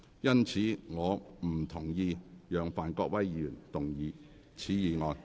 因此，我不同意讓范國威議員動議此議案。